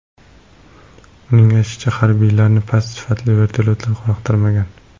Uning aytishicha, harbiylarni past sifatli vertolyotlar qoniqtirmagan.